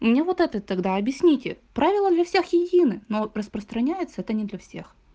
мне вот это тогда объясните правила для всех едины но распространяется это не для всех